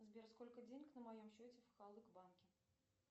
сбер сколько денег на моем счете в халык банке